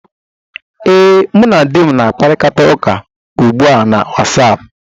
Ee, mụ na di m na-akparịta ụka ugbu a na Wasapụ